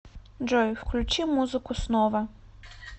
джой включи музыку снова